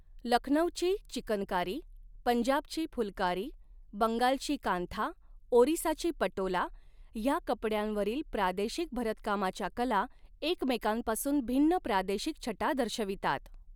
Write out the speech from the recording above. लखनौची चिकनकारी पंजाबची फुलकारी बंगालची कांथा ओरिसाची पटोला ह्या कपड्यांवरील प्रादेशिक भरतकामाच्या कला एकमेकांपासून भिन्न प्रादेशिक छटा दर्शवितात.